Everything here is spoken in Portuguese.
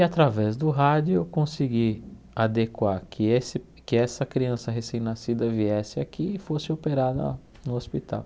E através do rádio eu consegui adequar que esse que essa criança recém-nascida viesse aqui e fosse operada no hospital.